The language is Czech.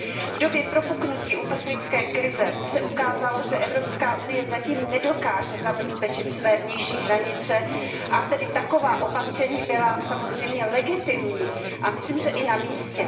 V době propuknutí uprchlické krize se ukázalo, že Evropská unie zatím nedokáže zabezpečit své vnější hranice, a tedy taková opatření byla samozřejmě legitimní a myslím, že i na místě.